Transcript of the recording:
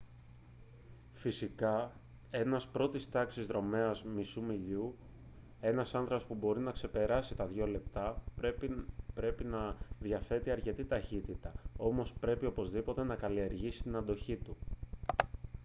φυσικά ένας πρώτης τάξης δρομέας μισού μιλιού ένας άνδρας που μπορεί να ξεπεράσει τα δύο λεπτά πρέπει να διαθέτει αρκετή ταχύτητα όμως πρέπει οπωσδήποτε να καλλιεργήσει την αντοχή του